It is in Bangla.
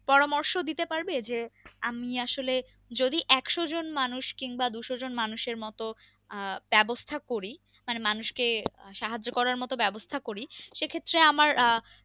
পরামর্শ দিতে পারবে যে আমি আসলে যদি একশো জন মানুষ কিংবা দুশো জন মানুষের মতো আহ ব্যবস্থা করি মানে মানুষ কে সাহায্য করার মতো ব্যবস্থা করি সে ক্ষত্রে আমার আহ